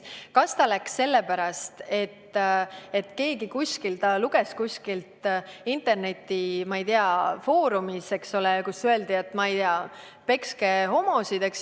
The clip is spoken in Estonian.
Kas ta läks sellepärast, et ta luges mingisugust internetifoorumit, kus öeldi, et, ma ei tea, pekske homosid?